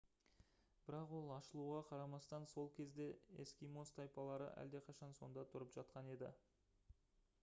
бірақ ол ашылуға қарамастан сол кезде эскимос тайпалары әлдеқашан сонда тұрып жатқан еді